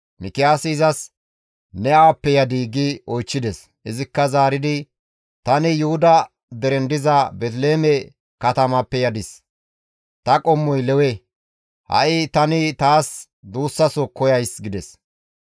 Mikiyaasi izas, «Ne awappe yadii?» gi oychchides. Izikka zaaridi, «Tani Yuhuda deren diza Beeteliheeme katamappe yadis; ta qommoy Lewe. Ha7i tani taas duussaso koyays» gides.